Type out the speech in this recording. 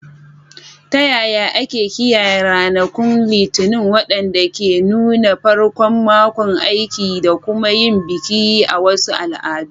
Ta yaya ake kiyaye ranakun Litinin, waɗanda ke nuna farkon makon aiki, da kuma yin bikin a wasu al'adu?